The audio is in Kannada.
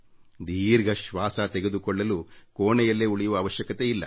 ದೀರ್ಘ ಶ್ವಾಸ ತೆಗೆದುಕೊಳ್ಳಲು ಕೋಣೆಯಲ್ಲೇ ಉಳಿಯುವ ಅವಶ್ಯಕತೆಯಿಲ್ಲ